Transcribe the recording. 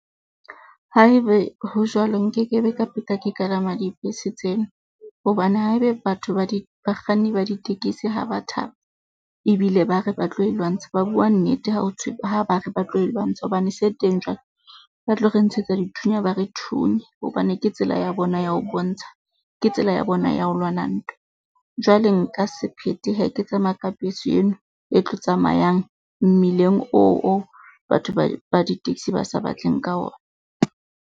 Haebe ho jwalo, nkekebe ka ke kalama dibese tseno hobane haebe batho ba di bakganni ba ditekesi, ha ba thaba ebile ba re ba tlo e lwantsha, ba bua nnete ha ha ba re ba tlo e lwantsha hobane se teng jwalo, ba tlo re ntshetsa dithunya, ba re thunye hobane ke tsela ya bona ya ho bontsha. Ke tsela ya bona ya ho lwana ntwa. Jwale nka se phethe hee. Ke tsamaya ka bese eno e tlo tsamayang mmileng. Oo batho ba di-taxi ba sa batleng ka ona.